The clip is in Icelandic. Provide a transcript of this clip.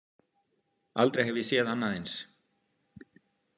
Aldrei hef ég séð annað eins.